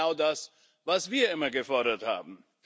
Das war genau das, was wir immer gefordert haben.